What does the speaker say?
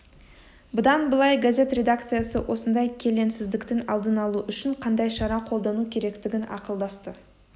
бұдан былай газет редакциясы осындай келеңсіздіктің алдын алу үшін қандай шара қолдану керектігін ақылдасты